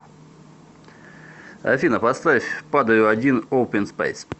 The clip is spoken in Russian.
афина поставь падаю один оупен спэйс